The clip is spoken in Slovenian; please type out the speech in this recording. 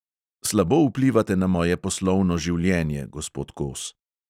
Slabo vplivate na moje poslovno življenje, gospod kos.